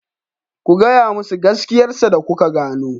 Ku gaya musu gaskiyarsa da kuka gano.